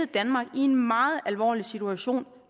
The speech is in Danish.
danmark i en meget alvorlig situation